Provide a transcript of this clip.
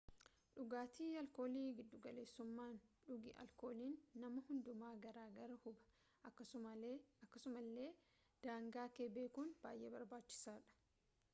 dhugaatii alkoolii giddugaleessummaan dhugi alkooliin nama hundumaa garaagara huba akkasumallee daangaakee bekuun bayyee barbaachisaadha